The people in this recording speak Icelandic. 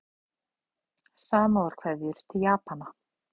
Samúðarkveðjur til Japana